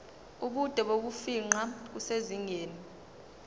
ubude bokufingqa kusezingeni